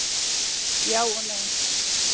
Já og nei.